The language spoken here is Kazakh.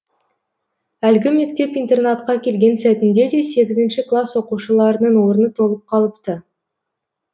әлгі мектеп интернатқа келген сәтінде де сегізінші класс оқушыларының орны толып қалыпты